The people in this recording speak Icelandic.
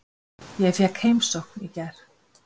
Ég fékk heimsókn í gær.